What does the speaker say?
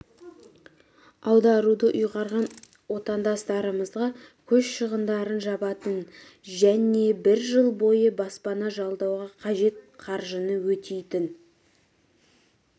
аударуды ұйғарған отандастарымызға көш шығындарын жабатын және бір жыл бойы баспана жалдауға қажет қаржыны өтейтін